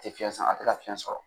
tɛ fiyɛn sama a tɛ ka fiyɛn sɔrɔ.